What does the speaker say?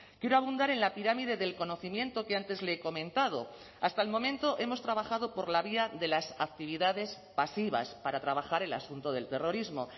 quiero abundar en la pirámide del conocimiento que antes le he comentado hasta el momento hemos trabajado por la vía de las actividades pasivas para trabajar el asunto del terrorismo